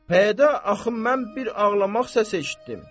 Pəyədə axı mən bir ağlamaq səsi eşitdim.